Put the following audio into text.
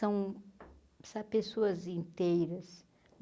São sa pessoas inteiras.